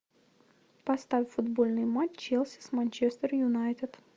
поставь футбольный матч челси с манчестер юнайтед